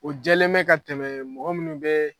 O jɛlen bɛ ka tɛmɛ mɔgɔ minnu bɛ